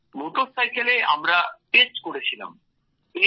sir মোটরসাইকেলে আমরা test করেছিলাম